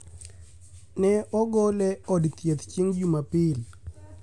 Ne ogol e od thieth chieng' Jumapil